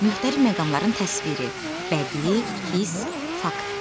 Müxtəlif məqamların təsviri, bədii, his, fakt.